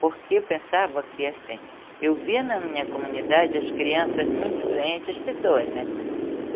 Porque eu pensava que assim, eu via na minha comunidade as crianças muito doentes, as pessoas, né?